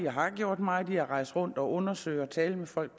og har gjort meget i at rejse rundt og undersøge og tale med folk